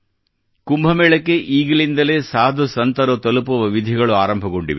ಕುಂಭ ಮೇಳಕ್ಕೆ ಈಗಿಂದಲೇ ಸಾಧು ಸಂತರು ತಲುಪುವ ವಿಧಿಗಳು ಆರಂಭಗೊಂಡಿದೆ